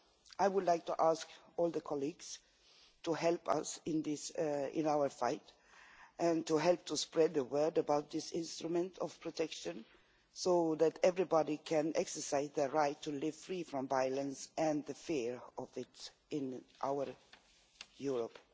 I would like to ask all colleagues to help us in our fight and to help to spread the word about this protection instrument so that everybody can exercise their right to live free from violence and the fear of it in our Europe.